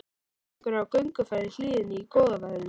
Það eru einhverjir á gönguferð í hlíðinni í góða veðrinu.